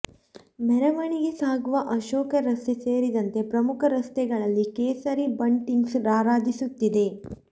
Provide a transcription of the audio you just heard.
ಮೆರವಣಿಗೆ ಸಾಗುವ ಅಶೋಕ ರಸ್ತೆ ಸೇರಿದಂತೆ ಪ್ರಮುಖ ರಸ್ತೆಗಳಲ್ಲಿ ಕೇಸರಿ ಬಂಟಿಂಗ್ಸ್ ರಾರಾಜಿಸುತ್ತಿದೆ